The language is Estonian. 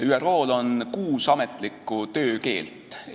ÜRO-l on kuus ametlikku töökeelt.